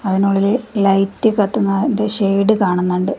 അതിനുള്ളില് light കത്തുന്നാന്റെ shade കാണുന്നുണ്ട്.